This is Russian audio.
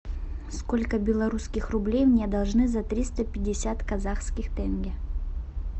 сколько белорусских рублей мне должны за триста пятьдесят казахских тенге